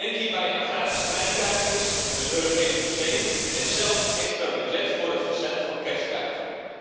Denk hierbij aan gratis treinkaartjes, een Europees museum en zelfs een extra budget voor het verzenden van kerstkaarten.